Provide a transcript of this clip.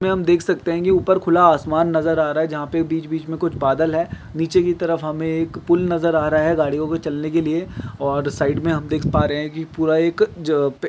में हम देख सकते है कि ऊपर खुला आसमान नजर आ रहा है जहा पे बीच बीच मे कुछ बादल है नीचे की तरफ हमे एक पुल नजर आ रहा है गाड़ियों के चलने के लिए और साइड मे हम देख पा रहे है की पूरा एक जहा पे